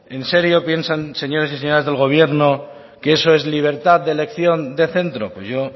en serio piensan señores y señoras del gobierno que eso es libertad de elección de centro pues yo